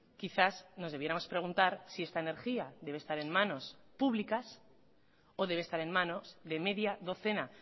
quizás nos debiéramos preguntar si esta energía debe estar en manos públicas o debe estar en manos de media docena